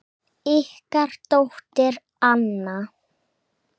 Ykkar dóttir, Anna.